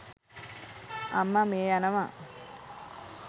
අම්ම මිය යනව.